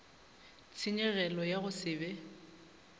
tshenyegelo ya go se be